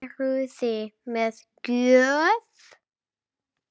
Eruði með gjöf?